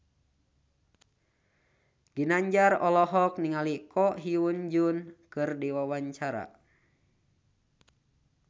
Ginanjar olohok ningali Ko Hyun Jung keur diwawancara